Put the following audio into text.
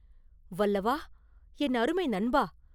“வல்லவா, என் அருமை நண்பா!